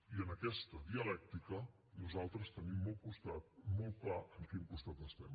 i en aquesta dialèctica nosaltres tenim molt clar en quin costat estem